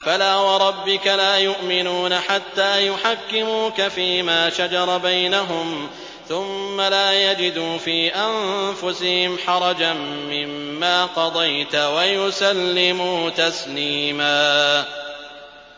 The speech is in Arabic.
فَلَا وَرَبِّكَ لَا يُؤْمِنُونَ حَتَّىٰ يُحَكِّمُوكَ فِيمَا شَجَرَ بَيْنَهُمْ ثُمَّ لَا يَجِدُوا فِي أَنفُسِهِمْ حَرَجًا مِّمَّا قَضَيْتَ وَيُسَلِّمُوا تَسْلِيمًا